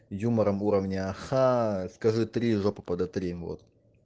юмором уровнях ха скажи три жопу подотри вот